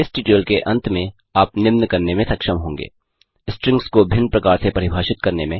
इस ट्यूटोरियल के अंत में आप निम्न करने में सक्षम होंगे स्ट्रिंग्स को भिन्न प्रकार से परिभाषित करने में